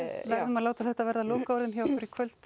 láta þetta vera loka orðin hjá okkur í kvöld